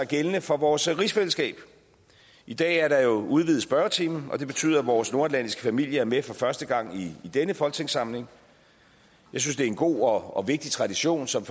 gældende for vores rigsfællesskab i dag er der jo udvidet spørgetime og det betyder at vores nordatlantiske familie er med for første gang i denne folketingssamling jeg synes det er en god og vigtig tradition som